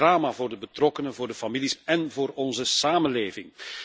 Dat is een drama voor de betrokkenen, voor de families en voor onze samenleving.